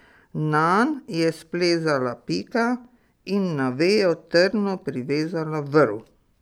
Nanj je splezala Pika in na vejo trdno privezala vrv.